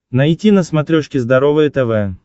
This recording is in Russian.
найти на смотрешке здоровое тв